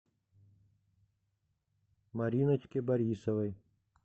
мариночке борисовой